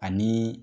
Ani